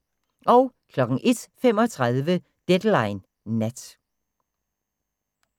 01:35: Deadline Nat